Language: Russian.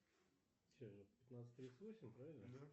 развлеки меня занимательной историей